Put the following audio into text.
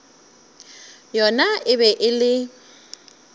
yona e be e le